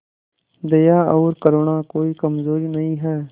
दया और करुणा कोई कमजोरी नहीं है